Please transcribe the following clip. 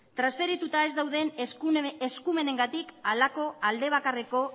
transferituta ez dauden eskumenengatik halako alde bakarreko